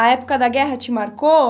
A época da guerra te marcou?